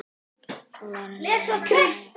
Hjóla, renni mér á sleða.